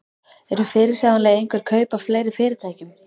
Eru fyrirsjáanleg einhver kaup á fleiri fyrirtækjum?